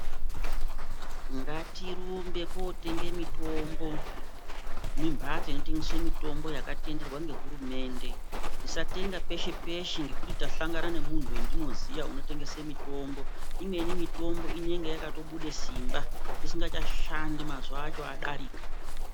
Ngatirumbe kootenge mitombo mumbatso inotengese mitombo yakatederwa ngehurumende. tisatenga peshe peshe ngekuti ndahlangana nemuntu wendinoziya unotengese mitombo. Imweni mitombo inenge yakatobude simba, isingachashandi mazuwa acho adarika.